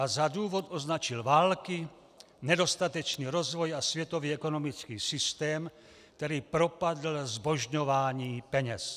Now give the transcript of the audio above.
A za důvod označil války, nedostatečný rozvoj a světový ekonomický systém, který propadl zbožňování peněz.